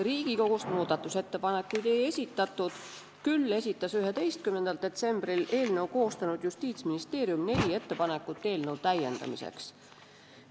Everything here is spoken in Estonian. Riigikogust muudatusettepanekuid ei esitatud, küll esitas 11. detsembril eelnõu koostanud Justiitsministeerium neli ettepanekut eelnõu täiendamiseks.